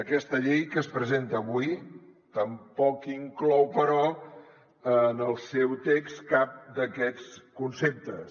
aquesta llei que es presenta avui tampoc inclou però en el seu text cap d’aquests conceptes